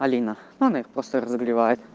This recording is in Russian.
алина он её просто разогревает